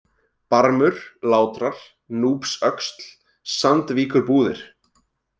Barmur, Látrar, Núpsöxl, Sandvíkurbúðir